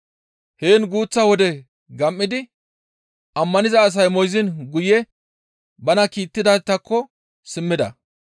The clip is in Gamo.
Heen guuththa wode gam7idi ammaniza asay moyziin guye bana kiittidaytakko simmida.